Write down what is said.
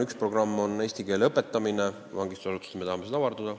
Üks programme on eesti keele õpetamine vangistusasutustes, me tahame seda avardada.